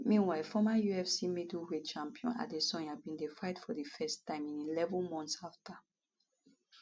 meanwhile former ufc middleweight champion adesanya bin dey fight for di first time in eleven months afta